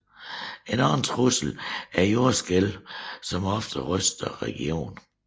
En anden trussel er jordskælvene som ofte ryster regionen